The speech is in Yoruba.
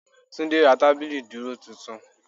Túndé ra tábìlì ìdúró titun